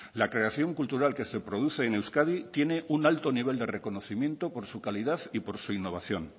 la creación cultural que se produce en euskadi tiene un alto nivel de reconocimiento por su calidad y por su innovación